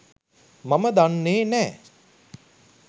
මම දන්නෙ නෑ.